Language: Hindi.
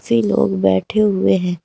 छे लोग बैठे हुए हैं।